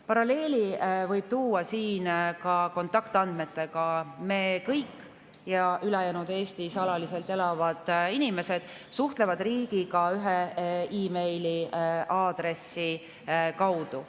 Paralleeli võib tuua siin kontaktandmetega: kõik Eestis alaliselt elavad inimesed suhtlevad riigiga ühe meiliaadressi kaudu.